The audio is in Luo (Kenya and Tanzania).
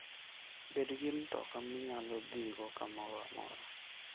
Bed gi mtoka minyalo dhigo kamoro amora.